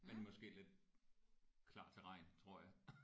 Men måske lidt klar til regn tror jeg